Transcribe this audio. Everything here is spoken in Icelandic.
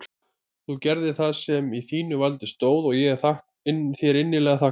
Þú gerðir það sem í þínu valdi stóð og ég er þér innilega þakklátur.